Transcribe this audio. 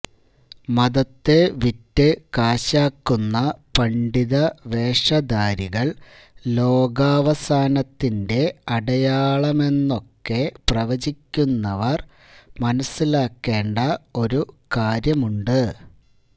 മതത്തെ വിറ്റ് കാശാക്കുന്ന പണ്ഡിത വേഷധാരികള് ലോകാവസാനത്തിന്റെ അടയളമണെന്നൊക്കെ പ്രവചിക്കുന്നവര് മനസ്സിലാക്കേണ്ട ഒരുകാര്യമുണ്ട്